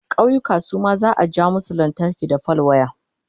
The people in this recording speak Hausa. ƙauyuka Suma za'a ja musu lantarki da fal waya